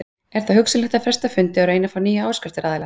Er þá hugsanlegt að fresta fundi og að reyna að fá nýja áskriftaraðila.